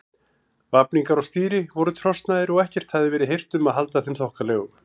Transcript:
Vafningar á stýri voru trosnaðir og ekkert hafði verið hirt um að halda þeim þokkalegum.